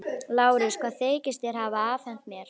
LÁRUS: Hvað þykist þér hafa afhent mér?